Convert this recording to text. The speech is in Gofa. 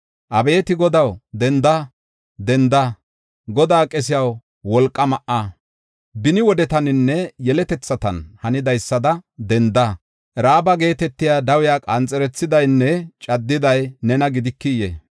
Abeeti Godaw, denda! Denda! Godaa qesiyaw, wolqaa ma7a. Beni wodetaninne yeletethan hanidaysada denda; Ra7aaba geetetiya dawiya qanxerethidaynne caddiday nena gidikiyee?